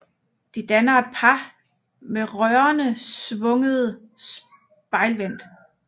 De danner et par med rørene svunget spejlvendt